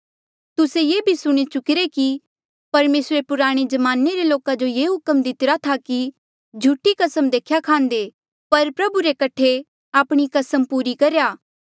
तुस्से ये भी सुणी चुकिरे कि परमेसरे पुराणे ज्माने रे लोका जो ये हुक्म दितिरा था कि झूठी कसम देख्या खांदे पर प्रभु रे कठे आपणी कसम पूरी करेया